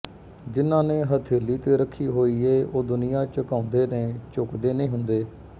ਜਿਹਨਾਂ ਨੇ ਹਥੇਲੀ ਤੇ ਰੱਖੀ ਹੋਈ ਏ ਉਹ ਦੁਨੀਆਂ ਝੁਕਾਉਂਦੇ ਨੇ ਝੁਕਦੇ ਨੀ ਹੁੰਦੇ